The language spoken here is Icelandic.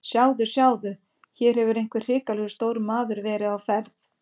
Sjáðu, sjáðu, hér hefur einhver hrikalega stór maður verið á ferð.